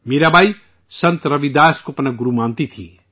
میرا بائی، سنت روی داس کو اپنا گرو مانتی تھیں